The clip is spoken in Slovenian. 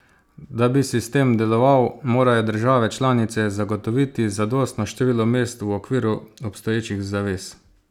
Da bi sistem deloval, morajo države članice zagotoviti zadostno število mest v okviru obstoječih zavez.